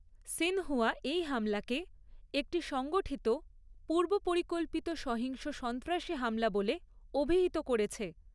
Xinhua এই হামলাকে 'একটি সংগঠিত, পূর্বপরিকল্পিত সহিংস সন্ত্রাসী হামলা' বলে অভিহিত করেছে।